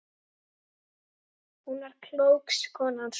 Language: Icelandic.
Hún var klók, konan sú.